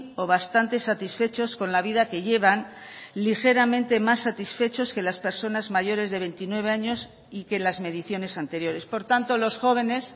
o bastante satisfechos con la vida que llevan ligeramente más satisfechos que las personas mayores de veintinueve años y que las mediciones anteriores por tanto los jóvenes